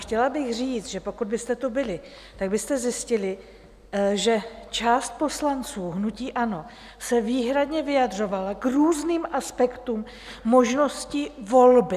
Chtěla bych říct, že pokud byste tu byli, tak byste zjistili, že část poslanců hnutí ANO se výhradně vyjadřovala k různým aspektům možnosti volby.